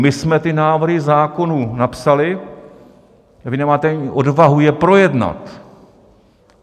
My jsme ty návrhy zákonů napsali a vy nemáte ani odvahu je projednat!